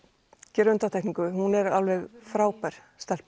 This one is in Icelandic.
gera undantekningu því hún er alveg frábær